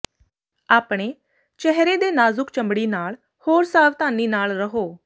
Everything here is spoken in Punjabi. ਆਪਣੇ ਚਿਹਰੇ ਦੇ ਨਾਜ਼ੁਕ ਚਮੜੀ ਨਾਲ ਹੋਰ ਸਾਵਧਾਨੀ ਨਾਲ ਰਹੋ